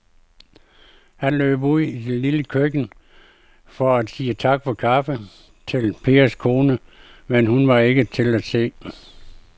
Han løb ud i det lille køkken for at sige tak for kaffe til Pers kone, men hun var ikke til at se.